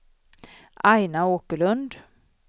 Aina Åkerlund